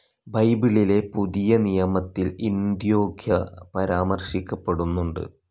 ബൈബിളിലെ പുതിയനിയമത്തിൽ അന്ത്യോഖ്യ പരാമർശിക്കപ്പെടുന്നുണ്ട്.